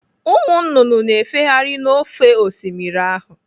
Ụmụ nnụnụ na-efegharị n'ofe Osimiri ahụ.